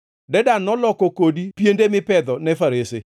“ ‘Dedan noloko kodi piende mipedho ne farese.